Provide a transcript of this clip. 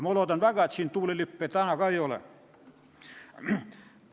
Ma loodan väga, et siin ka täna tuulelippe ei ole.